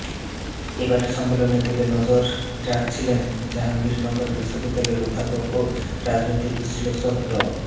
এবারের সম্মেলনের দিকে নজর রাখছিলেন জাহাঙ্গীরনগর বিশ্ববিদ্যালয়ের অধ্যাপক ও রাজনৈতিক বিশ্লেষক ড